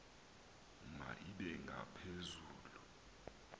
ma ibe ngaphezulu